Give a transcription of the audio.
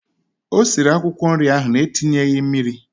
O siri akwụkwọ nri ahụ na-etinyeghị mmiri?